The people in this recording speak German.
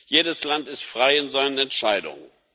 Jedes Land ist frei in seinen Entscheidungen.